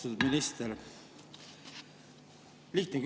Austatud minister!